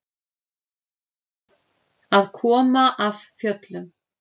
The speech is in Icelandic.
Að koma af fjöllum